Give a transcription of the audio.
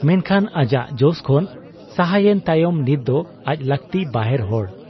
ᱢᱮᱱᱠᱷᱟᱱ ᱟᱡᱟᱜ ᱡᱚᱥ ᱠᱷᱚᱱ ᱥᱟᱦᱟᱭᱮᱱ ᱛᱟᱭᱚᱢ ᱱᱤᱛ ᱫᱚ ᱟᱡ ᱞᱟᱹᱠᱛᱤ ᱵᱟᱦᱮᱨ ᱦᱚᱲ ᱾